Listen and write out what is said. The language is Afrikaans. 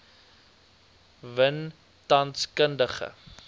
win tans kundige